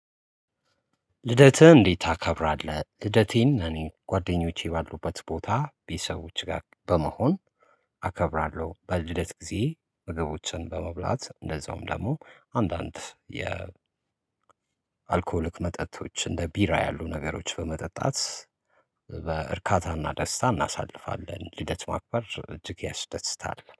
ልደትህን እንዴት ታከብራለህ? ልደቴን እኔ ጓደኞቼ ባሉበት ቦታ ቤተሰቦቼ ጋር በመሆን አከብራለሁ። በልደት ጊዜ ምግቦችን በመብላት እንደዛውም ደግሞ አንዳንድ የ አልኮል መጠጦች እንደ ቢራ ያሉ ነገሮች በመጠጣት በእርካታና ደስታ እናሳልፋለን። ልደት ማክበር እጅግ ያስደስታል።